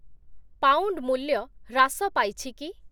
Pound ମୂଲ୍ୟ ହ୍ରାସ ପାଇଛି କି ?